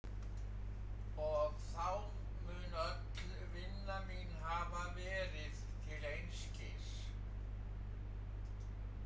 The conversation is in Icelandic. Og þá mun öll vinna mín hafa verið til einskis.